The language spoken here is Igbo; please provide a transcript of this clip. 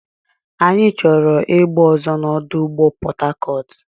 Anyị chọrọ egbe ọzọ na ọdụ ụgbọ Port Harcourt.